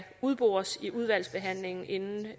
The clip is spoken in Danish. udbores i udvalgsbehandlingen inden